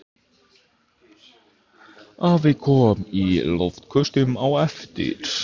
Afi kom í loftköstum á eftir.